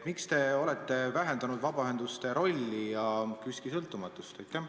Miks te olete vähendanud vabaühenduste rolli ja KÜSK-i sõltumatust?